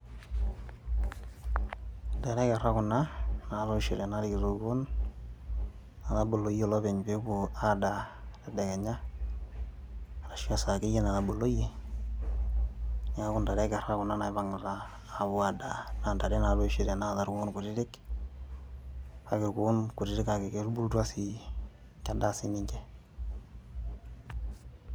Ntare ekera kuna natoishote narikito irkuuon ,nataboloyie olopeny pepuo adaa tedekenya arashu esaa akeyie nataboloyie, niaku ntare ekerra kuna naipangita pepuo adaa naa ntare natoishote naata ilkuon kutitik kake ilkuo kutitik kake ketubulutua sii kedaa sininje